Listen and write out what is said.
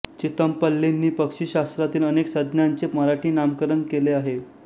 चितमपल्लींनी पक्षिशास्त्रातील अनेक संज्ञांचे मराठी नामकरण केले आहे